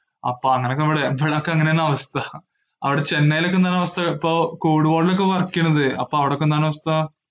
അപ്പൊ അങ്ങന ഇവിടെ ഇവിടൊക്കെ അങ്ങനെയാണ് അവസ്ഥ. അവിടെ ചെന്നൈയിലൊക്കെ എന്താണാവസ്ഥ ഇപ്പോ, കോവിഡ് ward ഇലൊക്കെ work ചെയ്യണത്. അപ്പോ അവിടെയൊക്കെ എന്താണ് അവസ്ഥ?